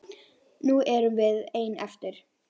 Nú erum við ein eftir.